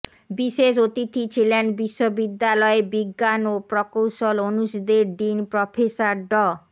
বিশেষ অতিথি ছিলেন বিশ্ববিদ্যালয়ের বিজ্ঞান ও প্রকৌশল অনুষদের ডিন প্রফেসর ড